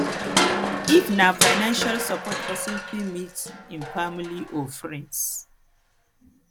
if na financial support person fit meet im family or friends